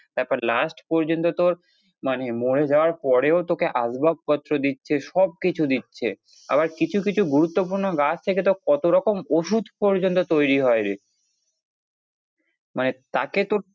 তারপর last প্রয়োজন তো তোর মানে মোর যাওয়ার পরেও তোকে আসবাবপত্র দিচ্ছে সবকিছু দিচ্ছে আবার কিছু কিছু গুরুত্বপূর্ণ গাছ থেকে তো কতরকম ওষুধ পর্যন্ত তৈরী হয় রে মানে তাকে তো